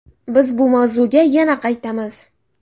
Biz bu mavzuga yana qaytamiz.